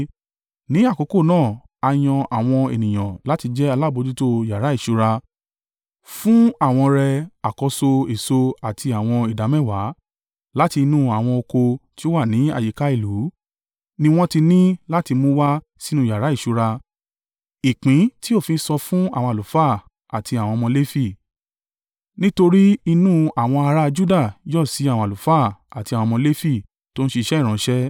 Ní àkókò náà, a yan àwọn ènìyàn láti jẹ́ alábojútó yàrá ìṣúra fún àwọn ọrẹ àkọ́so èso àti àwọn ìdámẹ́wàá. Láti inú àwọn oko tí ó wà ní àyíká ìlú ni wọ́n ti ní láti mú wá sínú yàrá ìṣúra, ìpín tí òfin sọ fún àwọn àlùfáà àti àwọn ọmọ Lefi, nítorí inú àwọn ará a Juda yọ́ sí àwọn àlùfáà àti àwọn ọmọ Lefi tó ń ṣiṣẹ́ ìránṣẹ́.